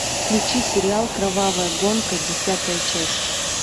включи сериал кровавая гонка десятая часть